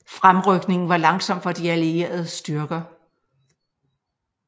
Fremrykningen var langsom for de allierede styrker